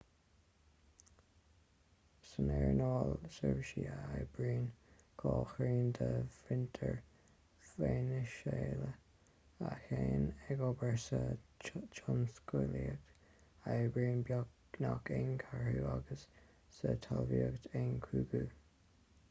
san earnáil seirbhísí a oibríonn dhá thrian de mhuintir veiniséala a théann ag obair sa tionsclaíocht a oibríonn beagnach aon cheathrú agus sa talmhaíocht aon chúigiú